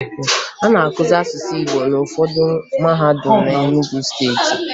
A na-akụzi asụsụ Igbo n'ụfọdụ mahadum na Enugwu Steeti